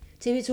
TV 2